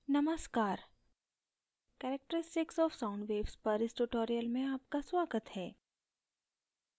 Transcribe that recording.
नमस्कार characteristics of sound waves पर इस tutorial में आपका स्वागत है